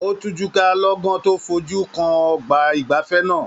O tujuka lọ́gán to fojú kan ọgbà igbafẹ̀ náà.